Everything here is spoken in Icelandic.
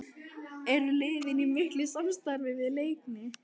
Er liðið í miklu samstarfi við Leikni?